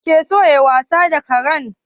Wanene yake so yayi wasa da karen?